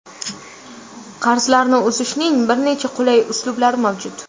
Qarzlarni uzishning bir necha qulay uslublari mavjud.